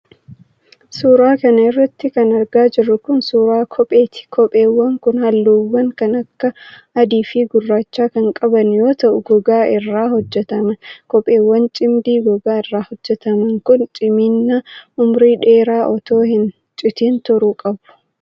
Suura kana irratti kan argaa jirru kun ,suura kopheeti. Kopheewwan kun haalluuwwan kan akka :adii fi gurraacha kan qaban yoo ta'u, gogaa irraa hojjataman. Kopheewwan cimdii gogaa irraa hojjataman kun, cimina umurii dheeraa otoo hin citin turuu qabu.